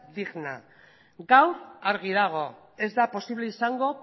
digna gaur argi dago ez da posible izango